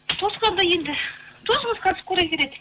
тоқсанда енді тосыңыз қазір скорый келеді